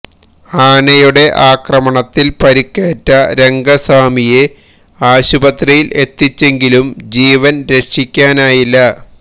ആനയുടെ ആക്രമണത്തില് പരിക്കേറ്റ രംഗസ്വാമിയെ ആശുപത്രിയില് എത്തിച്ചെങ്കിലും ജീവന് രക്ഷിക്കാനായില്ല